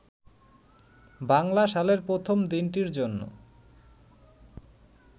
বাংলা সালের প্রথম দিনটির জন্য